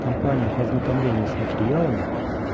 компания по ознакомлению с материалами